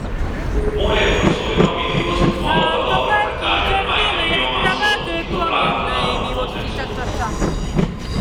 Morje je prosojno, vidljivost pod vodo pa dobra, kar kaže na majhno biomaso fitoplanktona v vodnem stolpcu.